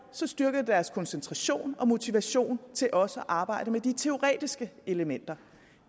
styrke deres koncentration og motivation til også at arbejde med de teoretiske elementer